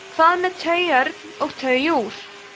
hvað með tauörn og tauúr